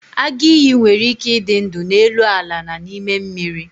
agụ iyi nwere ike ịdị ndụ n'elu ala na n'ime mmiri